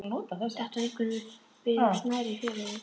Þetta á einkum við um smærri félögin.